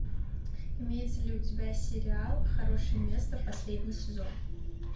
имеется ли у тебя сериал хорошее место последний сезон